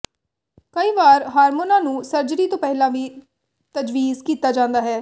ਕਈ ਵਾਰ ਹਾਰਮੋਨਾਂ ਨੂੰ ਸਰਜਰੀ ਤੋਂ ਪਹਿਲਾਂ ਵੀ ਤਜਵੀਜ਼ ਕੀਤਾ ਜਾਂਦਾ ਹੈ